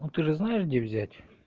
ну ты же знаешь где взять